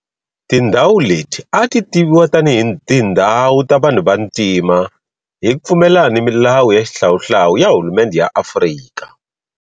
Tindhawu leti a ti tiviwa tanihi tindhawu ta vanhu vantima hi ku pfumelelana ni milawu ya xihlawuhlawu ya hulumendhe ya Afrika.